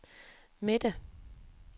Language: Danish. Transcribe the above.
midte